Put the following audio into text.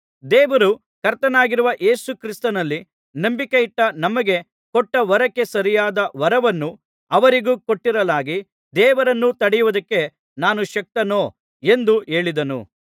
ದೇವರು ಕರ್ತನಾಗಿರುವ ಯೇಸು ಕ್ರಿಸ್ತನಲ್ಲಿ ನಂಬಿಕೆಯಿಟ್ಟ ನಮಗೆ ಕೊಟ್ಟ ವರಕ್ಕೆ ಸರಿಯಾದ ವರವನ್ನು ಅವರಿಗೂ ಕೊಟ್ಟಿರಲಾಗಿ ದೇವರನ್ನು ತಡೆಯುವುದಕ್ಕೆ ನಾನು ಶಕ್ತನೋ ಎಂದು ಹೇಳಿದನು